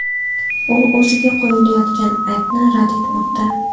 U o‘ziga qo‘yilayotgan aybni rad etmoqda.